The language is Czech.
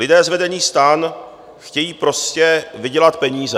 Lidé z vedení STAN chtějí prostě vydělat peníze.